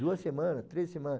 Duas semana, três semana.